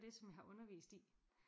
Det som jeg har undervist i